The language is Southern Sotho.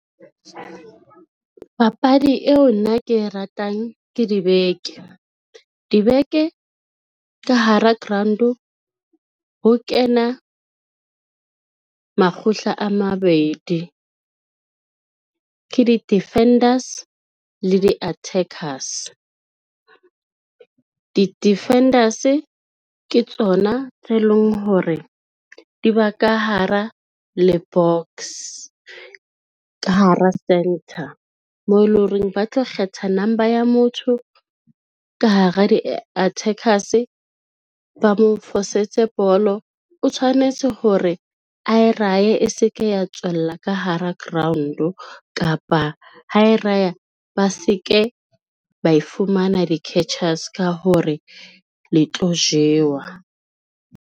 Papadi eo nna ke e ratang ke dibeke. Dibeke ka hara ground-o ho kena makgotla a mabedi ke di-defenders le di-attackers. Di-defenders ke tsona tse leng hore di ba ka hara le box, ka hara centre moo e lo reng ba tla kgetha number ya motho ka hara di-attackers, ba mo fosetse bolo o tshwanetse hore a erahe e se ke ya tswella ka hara ground-o kapa ha e raya ba se ke ba e fumana di-catchers ka hore le tlo jewa.